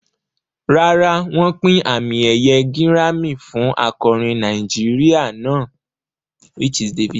Rárá, wọ́n pín àmì ẹ̀yẹ gírámì fún akọrin Nàìjíríà náà.